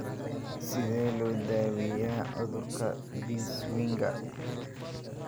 Sidee loo daweeyaa cudurka Binswanger?